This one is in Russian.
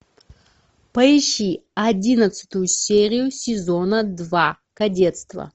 поищи одиннадцатую серию сезона два кадетство